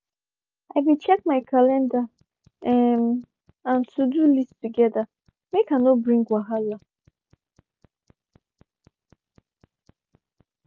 i be check my calendar um and to-do list together make i no bring wahala.